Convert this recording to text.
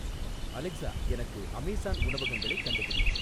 Alexa எனக்கு Amazon உணவகங்களை கண்டுபிடி